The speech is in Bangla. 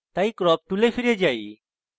তাই crop tool ফিরে যাই